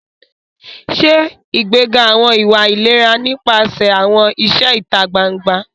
Ṣe ìgbéga àwọn ìwà ìlera nípasẹ̀ àwọn iṣẹ́ ìta gbangba.